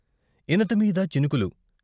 ఇనతమీద చినుకులు.